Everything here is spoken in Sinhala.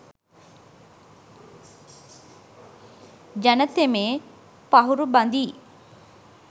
ජන තෙමේ පහුරු බඳියි